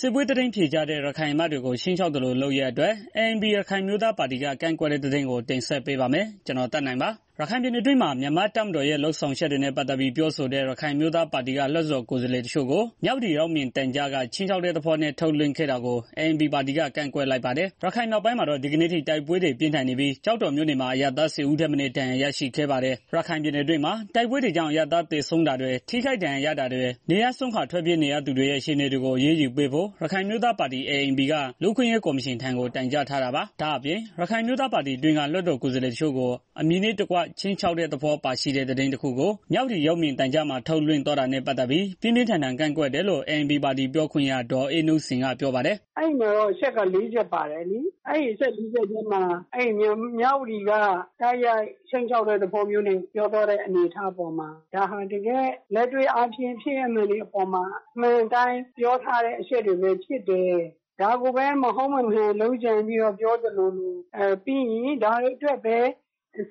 စစ်ပွဲသတင်းဖြေကြားတဲ့ ရခိုင်အမတ်တွေကို ခြိမ်းခြောက်သလိုလုပ်ရပ်အတွက် ANP ရခိုင်အမျိုးသားပါတီက ကန့်ကွက်တဲ့သတင်း ကိုသက်နိုင်တင်ဆက်ပေးပါမယ်။ ရခိုင်ပြည်နယ်အတွင်းမှာ မြန်မာတပ်မတော်ရဲ့ လုပ်ဆောင်ချက်တွေနဲ့ ပတ်သတ်ပြီးပြောဆိုတဲ့ ရခိုင်အမျိုး သားပါတီက လွတ်တော်ကိုယ်စားလှယ်တစ်ချို့ကို မြဝတီရုပ်မြင်သံကြားက ခြိမ်းခြောက်တဲ့သဘောနဲ့ ထုတ်လွင့် ခဲ့တာကို ANP ပါတီက ကန့်ကွက်လိုက်ပါတယ်။ ရခိုင်မြောက်ပိုင်းမှာတော့ ဒီကနေ့အထိ တိုက်ပွဲတွေ ပြင်းထန် နေပြီးကျောက်တော်မြို့နယ်မှာ အရပ်သား ၁၀ဦးထက်မနည်း ဒဏ်ရာရရှိခဲ့ပါတယ်။ ရခိုင်ပြည်နယ်အတွင်းမှာ တိုက်ပွဲတွေကြောင့် အရပ်သားသေဆုံးတာတွေ ထိခိုက်ဒဏ်ရာရတာတွေ နေရပ်စွန့် ခွာထွက်ပြေးနေရသူတွေရဲ့ အခြေအနေတွေကို အရေးယူပေးဖို့ ရခိုင်အမျိုးသားပါတီ က လူ့အခွင့်အရေး ကော်မရှင်ထံကို တိုင်ကြားထားတာပါ။ ဒါအပြင့် ရခိုင်အမျိုးသားပါတီအတွင်းက လွှတ်တော်ကိုယ်စားလှယ်တစ်ချို့ကို အမည်နဲ့တကွ ခြိမ်းခြောက်တဲ့ သဘောပါရှိတဲ့ သတင်းတစ်ခုကိုမြဝတီရုပ်မြင်သံကြား မှာထုတ်လွင့်သွားတာနဲ့ပတ်သတ်ပြီး ပြင်းပြင်း ထန်ထန် ကန့်ကွက်တယ်လို့ ANPပါတီ ပြောခွင့်ရ ဒေါ်အေးနုစိန်က ပြောပါတယ်။ “အဲဒီမှာတော့ အချက် လေးချက်ပါတယ်လေ အဲဒီအချက်လေးချက်ထဲမှာ မြဝတီက တိုက်ရိုက်ခြိမ်းခြောက်တဲ့ သဘော ပြောသွားတဲ့ အနေအထားပေါ်မှာ ဒါဟာတကယ် လက်တွေ့ဖြင့် ဖြစ်ရပ်မှန်တွေအပေါ်မှာ အမှန် အတိုင်း ပြောတဲ့ အချက်တွေပဲဖြစ်တယ်။ ဒါကိုမဟုတ် မမှန် လုပ်ကြံပြီးတော့ ပြောသလိုလို ပြီးရင် ဒါတွေ အတွက်ပဲ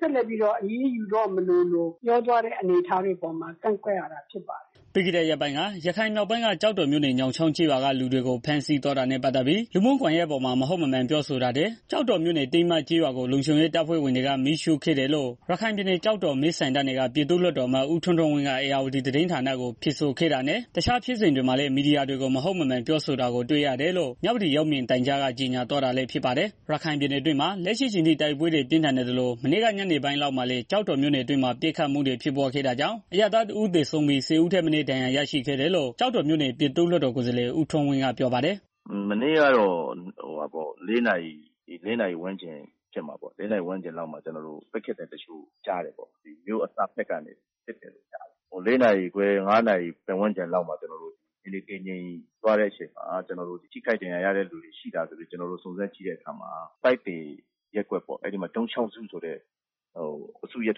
ဆက်လက်ပြီးတော့ အရေးယူသွားမလိုလို ပြောသွားတဲ့ အနေအထားပေါ်မှာ ကန့်ကွက် ရတာ ဖြစ်တယ်။” ပြီးခဲ့တဲ့ရက်ပိုင်းက ရခိုင်မြောက်ပိုင်းက ကျောက်တော်မြို့နယ် ညောင်းချောင်းကျေးရွာက လူတွေကို ဖမ်းဆီးသွား တာနဲ့ ပတ်သတ်ပြီး လူမှုကွန်ယှက်ပေါ်မှာ မဟုတ်မမှန်ပြောဆိုတာတွေ ကျောက်တော်မြို့နယ် တင်းမကျေးရွာကို လုံခြုံရေး တပ်ဖွဲ့ဝင်တွေက မီးရှုံ့ဖျက်စီးခဲ့တယ်လို့ ကျောက်တော် မဲဆန္ဒနယ်က ပြည်သူ့လွတ်တော် အမတ် ဦးထွန်းထွန်းဝင်းက ဧရာဝတီသတင်းဌာနကို ဖြေဆိုခဲ့တာနဲ့ တစ်ခြားဖြစ်စဉ် တွေမှာ လည်း မီဒီယာတွေကို မဟုတ်မမှန်ပြောဆိုတာကို တွေ့ရတယ်လို့ မြဝတီရုပ်မြင်သံကြားက ကြေညာသွား တာလည်း ဖြစ်ပါတယ်။ ရခိုင်ပြည်နယ်အတွင်းမှာ လက်ရှိအချိန်ထိ တိုက်ပွဲတွေ ပြင်းထန်နေသလို မနေ့က ညနေပိုင်းလောက်မှာလည်း ကျောက်တော်မြို့နယ်အတွင်းမှာ ပစ်ခတ်မှုတွေ ဖြစ်ပွားခဲ့တာကြောင့် အရပ်သားတစ်ဦးသေဆုံးပြီး ၁၀ဦးထက် မနည်း ဒဏ်ရာရရှိခဲ့တယ်လို့ ကျောက်တော်မြို့နယ် ပြည်သူ့လွှတ်တော်ကိုယ်စားလှယ် ဦးထွန်းဝင်းက ပြောပါ တယ်။ “မနေ့ကတော့ ၄ နာရီဝန်းကျင်လောက်မှာ မြို့အစဘက်ကနေ ပစ်ခတ်သံတစ်ချို့ကြားတယ်။ ၄နာရီခွဲ ၅နာရီ ပတ်ဝန်းကျင်လောက်မှာ ထိခိုက်ဒဏ်ရာရတဲ့ သူတွေ ရှိလားလို့ စုံစမ်းကြည့်တဲ့အခါမှာ ပိုက်သယ်ရပ်ကွက် ၊ ဒုံး ချောင်းစုဆိုတဲ့ အစုထဲ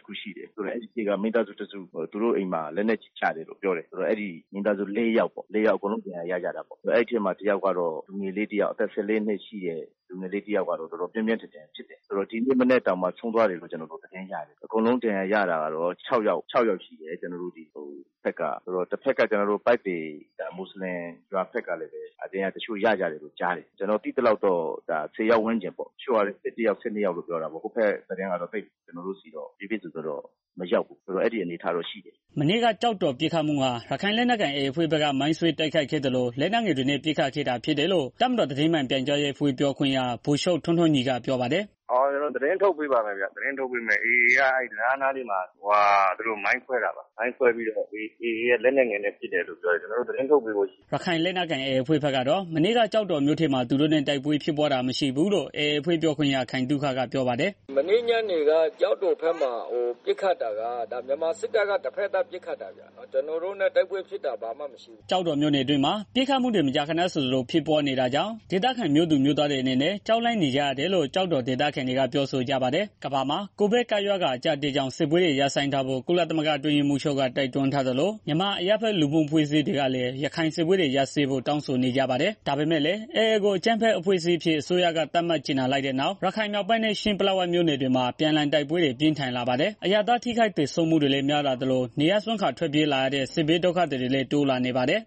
မှာမိသားစုတစ်စု သူတို့အိမ်မှာ လက်နက်ကြီးကျတယ်လို့ ပြောတယ်။ မိသားစုလေး ယောက် အကုန်လုံးဒဏ်ရာရကြတာပေါ့။ အဲဒီထဲမှာ အသက် ၁၄နှစ် လူငယ်လေးတစ်ယောက် ကတော့ တော်တော်ပြင်း ပြင်း ထန်ထန်ဖြစ်တယ်။ ဒီနေ့မနက်မှာ ဆုံးသွားတယ်လို့ ကြားတယ်။ အကုန်လုံးဒဏ်ရာ ရတာကတော့ ၆ ယောက် ရှိတယ်။ ပိုက်သည် မွတ်စလင်ရွာဘက်ကလည်း တစ်ချို့ ဒဏ်ရာရကြတယ်လို့ ကြတားတယ်။ ကျနော်ကြားရ သလောက် ကတော့ ၁၀ ကျော်လောက် ဒဏ်ရာရကြတယ်လို့ ကြားတယ် အဲဘက်က သတင်းကတော့ ကျနော့်ဆီ ကိုတော့ တိတိကျကျမရောက်ဘူး။” မနေ့က ကျောက်တော်ပစ်ခတ်မှုဟာ ရခိုင်လက်နက်ကိုင် AAအဖွဲ့က မိုင်းခွဲတိုက်ခိုက်ခဲ့သလို လက်နက်ငယ် တွေနဲ့ ပစ်ခတ်ခဲ့တာဖြစ်တယ်လို့ တပ်မတော်သတင်းမှန်ပြန်ကြားရေးအဖွဲ့ ပြောခွင့်ရ ဗိုလ်ချုပ်ထွန်းထွန်းညီက ပြောပါ တယ်။ “AAက အဲဒီတံတားနားမှာ မိုင်းခွဲတယ်။ မိုင်းခွဲပြီးတော့ AAက လက်နက်ငယ်နဲ့ ပစ်တယ်လို့ ပြောတယ်။ ကျနော်တို့ သတင်းထုတ်ပေးဖို့ရှိတယ်ဗျာ။” ရခိုင်လက်နက်ကိုင် AAအဖွဲ့ဘက်ကတော့ မနေ့က ကျောက်တော်မြို့ထဲမှာ သူတို့နဲ့ တိုက်ပွဲဖြစ်တာမရှိဘူးလို့ AAအဖွဲ့ ပြောခွင့်ရ ခိုင်သုခက ပြောပါတယ်။ “မနေ့ညနေက ကျောက်တော်ဘက်မှာပစ်ခတ်တာက မြန်မာစစ်တပ်ဘက်က တစ်ဖက်သတ် ပစ်ခတ်တာ ဖြစ်တယ်ဗျာ။ ကျနော်တို့နဲ့ တိုက်ပွဲဖြစ်တာ လုံးဝမရှိဘူး။” ကျောက်တော်မြို့အတွင်းမှာ ပစ်ခတ်မှုတွေ မကြားခဏဆိုသလို ဖြစ်ပွားနေတာကြောင့် ဒေသခံမြို့သူမြို့ သားတွေအနေနဲ့ ကြောက်လန့်နေကြရတယ်လို့ ကျောက်တော်ဒေသခံတွေက ပြောဆိုကြပါတယ်။ ကမ္ဘာမှာ COVID ကပ်ရောဂါအကြပ်အတည်းကြောင့် စစ်ပွဲတွေ ရပ်ဆိုင်းထားဖို့ ကုလသမဂ္ဂအတွင်းရေးမှူးချုပ်က တိုက်တွန်းထားသလို၊ မြန်မာအရပ်ဖက်လူ့မှုအဖွဲ့တွေကလည်း ရခိုင်စစ်ပွဲတွေ ရပ်စဲဖို့ တောင်းဆိုနေကြပါတယ်။ ဒါပေမယ့်လည်း AA ကို အကြမ်းဖက်အဖွဲ့အစည်းအဖြစ် အစိုးရက သတ်မှတ်ကြေညာလိုက်တဲ့နောက်၊ ရခိုင်မြောက်ပိုင်းနဲ့ ချင်း ပလက်ဝမြို့နယ်တွေမှာ အပြန်အလှန်တိုက်ပွဲတွေ ပိုပြင်းထန်လာပါတယ်။ အရပ်သား ထိခိုက်သေဆုံးမှုတွေလည်း များလာသလို၊ နေရပ်စွန့်ခွာထွက်ပြေးရတဲ့ဒုက္ခသည်တွေလည်း တိုးလာ နေပါ တယ်။